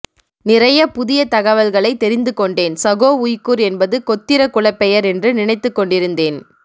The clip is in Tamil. நிறைய புதிய தகவல்களை தெரிந்துக் கொண்டேன் சகோ உய்குர் என்பது கொத்திர குலப்பெயர் என்று நினைத்துக் கொண்டிருந்தேன்